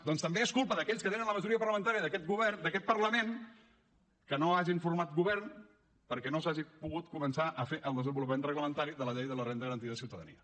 doncs també és culpa d’aquells que tenen la majoria parlamentària d’aquest parlament que no han format govern perquè no s’hagi pogut començar a fer el desenvolupament reglamentari de la llei de la renda garantida de ciutadania